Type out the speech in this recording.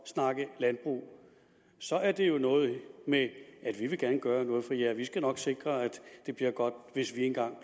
snakke landbrug så er det jo noget med vi vil gerne gøre noget for jer vi skal nok sikre at det bliver godt hvis vi engang